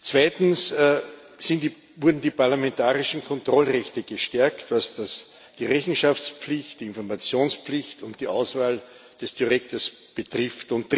Zweitens wurden die parlamentarischen Kontrollrechte gestärkt, was die Rechenschaftspflicht, die Informationspflicht und die Auswahl des Direktors betrifft.